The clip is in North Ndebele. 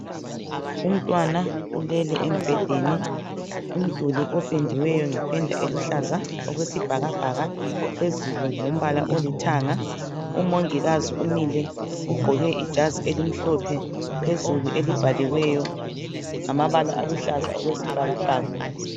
Umntwana ulele embhedeni, umduli opendiweyo ngependa eluhlaza okwesibhakabhaka, phezulu ngumbala olithanga. Umongikazi umile ugqoke ijazi elimhlophe phezulu elibhaliweyo ngamabala aluhlaza okwesibhakabhaka.